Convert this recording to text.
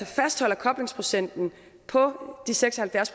fastholder koblingsprocenten på de seks og halvfjerds